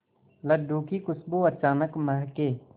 लड्डू की खुशबू अचानक महके